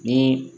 Ni